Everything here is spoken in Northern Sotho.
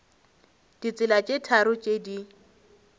ditsela tše tharo tše di